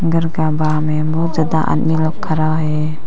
घर का बाहर मे बहुत ज्यादा अन्य लोग खड़ा है।